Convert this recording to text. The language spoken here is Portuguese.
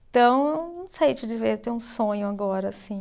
Então, não sei te dizer eu tenho um sonho agora, assim.